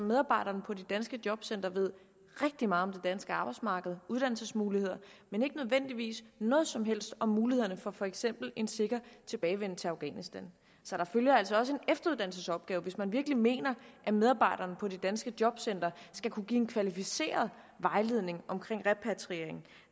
medarbejderne på de danske jobcentre ved rigtig meget om det danske arbejdsmarked uddannelsesmuligheder men ikke nødvendigvis noget som helst om mulighederne for for eksempel en sikker tilbagevenden til afghanistan så der følger altså også en efteruddannelsesopgave hvis man virkelig mener at medarbejderne på de danske jobcentre skal kunne give en kvalificeret vejledning om repatriering